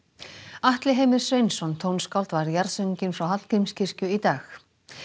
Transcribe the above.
Atli Heimir Sveinsson tónskáld var jarðsunginn frá Hallgrímskirkju í dag